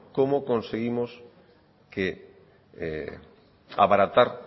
cómo conseguimos abaratar